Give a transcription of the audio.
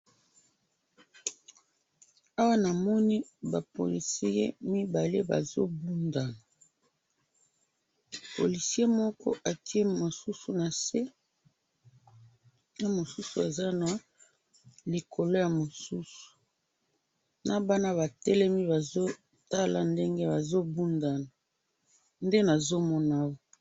Na moni ba policier mibale bazo bunda moko ati moninga na se na bana bazo tala.